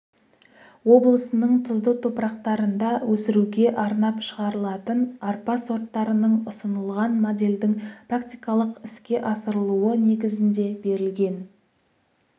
облысының тұзды топырақтарында өсіруге арнап шығарылатын арпа сорттарының ұсынылған модельдің практикалық іске асырылуы негізінде берілген